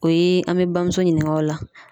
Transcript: O ye an bɛ bamuso ɲininka o la.